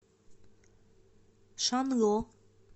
шанло